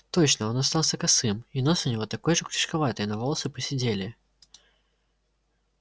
точно он остался косым и нос у него такой же крючковатый но волосы поседели